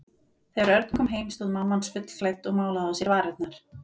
Þegar Örn kom heim stóð mamma hans fullklædd og málaði á sér varirnar.